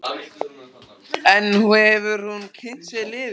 En hefur hún kynnt sér liðið?